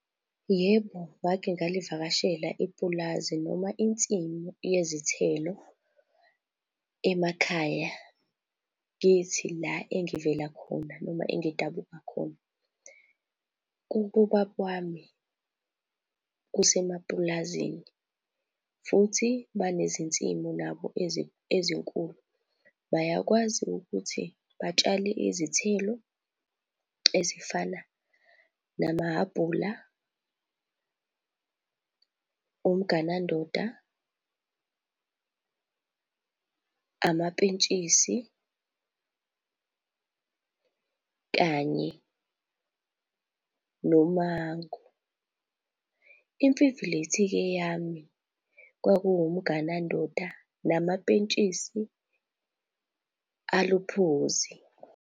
Yebo, ngake ngalivakashela ipulazi noma insimu yezithelo emakhaya, kithi la engivela khona noma engidabuka khona. Kubo baba wami kusemapulazini futhi banezinsimu nabo ezinkulu. Bayakwazi ukuthi batshale izithelo ezifana nama-aphula, umganandoda, amapentshisi kanye nomango. Imfivilithi-ke yami kwakuwumganandoda namapentshisi aluphuzi.